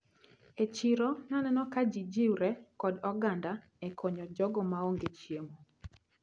E chiro naneno ka ji riwre kod oganda e konyo jogo maonge chiemo.